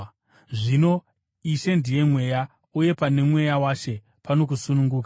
Zvino Ishe ndiye Mweya, uye pane Mweya waShe, pano kusununguka.